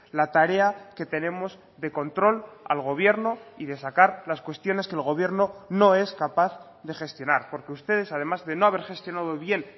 la tarea que tenemos de control al gobierno y de sacar las cuestiones que el gobierno no es capaz de gestionar porque ustedes además de no haber gestionado bien